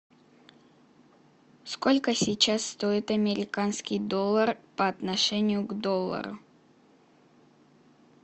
сколько сейчас стоит американский доллар по отношению к доллару